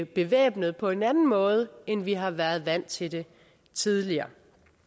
bevæbnet på en anden måde end vi har været vant til det tidligere